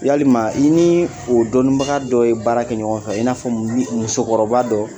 Yalima, i niii o dɔnniibaga dɔ ye baara kɛ ɲɔgɔn fɛ, i n'a fɔ musokɔrɔba dɔɔ.